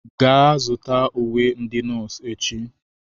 Gaa zụta uwe ndị nọọsụ echi!